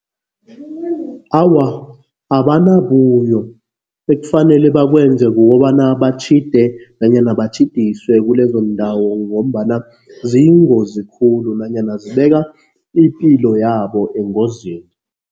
Awa, abanabuyo. Ekufanele bakwenza kukobana batjhide nanyana batjhidiswe kulezondawo ngombana ziyingozi khulu nanyana zibeka ipilo yabo engozini.